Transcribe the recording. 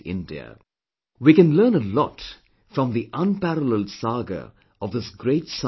We can learn a lot from the unparalleled saga of this great son of Mother India